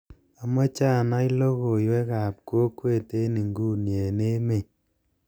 amoche anai logoiwek ab kokwet en inguni en emeet